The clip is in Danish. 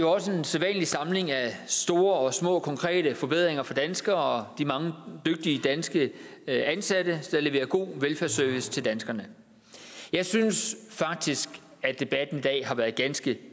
også en sædvanlig samling af store og små konkrete forbedringer for danskere og de mange dygtige danske ansatte der leverer god velfærdsservice til danskerne jeg synes faktisk at debatten i dag har været ganske